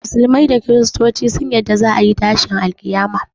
Musulmai da kristoci sun yarda za a yi tashin alƙiyama